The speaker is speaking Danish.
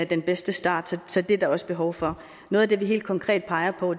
den bedste start så det er der også behov for noget af det vi helt konkret peger på